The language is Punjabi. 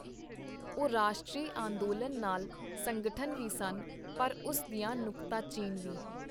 ਉਹ ਰਾਸ਼ਟਰੀ ਅੰਦੋਲਨ ਨਾਲ ਸੰਗਠਨ ਵੀ ਸਨ, ਪਰ ਉਸ ਦੀਆਂ ਨੁਕਤਾਚੀਨ ਵੀ.